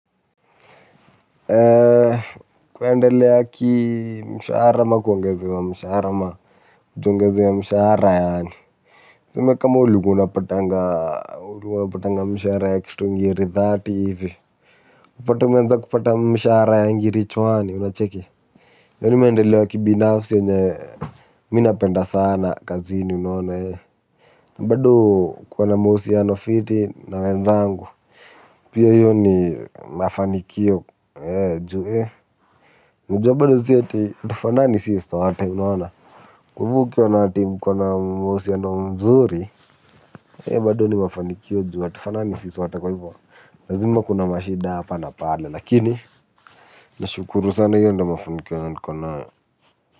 Kuendelea ki mshara ama kuongezewa mshahara ama ju uongezewe msharama yaani tuseme kama ulikuwa unapatanga unapatanga msharama ya ngiri dhaati hivi utapata umeanza kupata msharama ya ngiri chwani unacheki iyo nimendelea ki binafsi enyewe mi napenda sana kazini unaona na bado hukuwa na mahusiano fiti na wenzangu pia iyo ni mafanikio ju unajua bado hatufanani sisi sote unaona kwa hivyo ukiona ati mkona mahusiano mzuri bado ni mafanikio ju hatufanani sisi sote kwa hivyo lazima kuna mashida hapa na pale lakini nashukuru sana hiyo ndio mafanikio nko nayo.